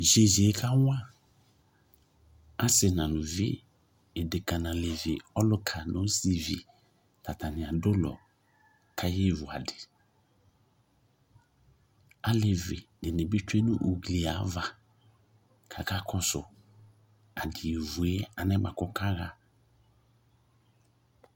Yeye kawa ase na aluvi, edka na alɛvl, aluka nɔ ɔsivi ka atane ado ulɔ ka yevu adi Alevi de be be tsue no ugli ava kaka kɔso ade evue anɛ boako ɔla ha